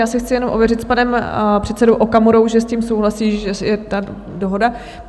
Já si chci jenom ověřit s panem předsedou Okamurou, že s tím souhlasí, že je ta dohoda?